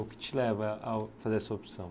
O que te leva ao fazer essa opção?